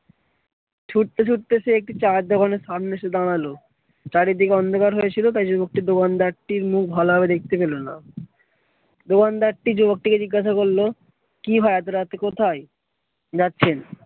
ছুটতে ছুটতে সে একটি চায়ের দোকানের সামনে এসে দাঁড়ালো। চারিদিকে অন্ধকার হয়েছিল তাই যুবকটি দোকানদারটির মুখ ভালোভাবে দেখতে পেলো না। দোকানদারটি যুবকটিকে জিজ্ঞাসা করলো কি ভাই এতো রাতে কোথায় যাচ্ছেন?